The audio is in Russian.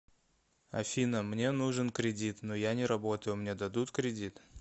афина мне нужен кредит но я не работаю мне дадут кредит